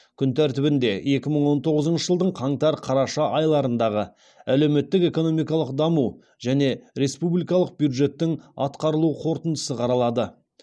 күн тәртібінде екі мың он тоғызыншы жылдың қаңтар қараша айларындағы әлеуметтік экономикалық даму және республикалық бюджеттің атқарылу қорытындысы қаралады